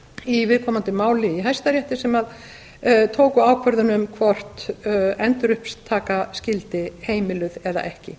í viðkomandi máli í hæstarétti sem tóku ákvörðun um hvort endurupptaka skyldi heimiluð eða ekki